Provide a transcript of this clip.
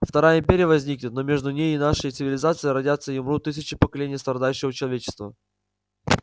вторая империя возникнет но между ней и нашей цивилизацией родятся и умрут тысячи поколений страдающего человечества